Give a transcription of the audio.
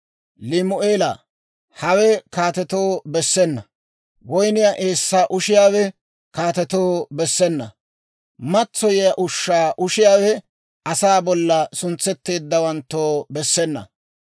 «Limu'eelaa, hawe kaatetoo bessena; woyniyaa eessaa ushiyaawe kaatetoo bessena; matsoyiyaa ushshaa ushiyaawe asaa bolla suntsetteeddawanttoo bessena.